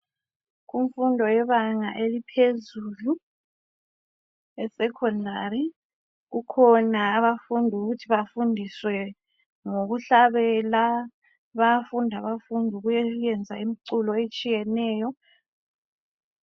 Imfundo yebanga eliphezulu e Secondary kukhona abafundi ukuthi bafundiswe ngokuhlabela bayafunda abafundi ngokufunda ukwenza imiculo etshiyeneyo